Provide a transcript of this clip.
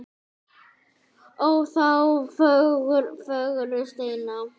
ó þá fögru steina